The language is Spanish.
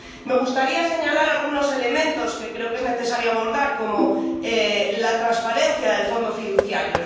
Me gustaría señalar algunos elementos que creo que es necesario abordar, como la transparencia del Fondo fiduciario.